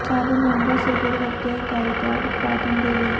ਸਭ ਮਹਿੰਗਾ ਸਿਲਵਰ ਵਰਤਿਆ ਇਕਾਈ ਦੀ ਉਤਪਾਦਨ ਦੇ ਲਈ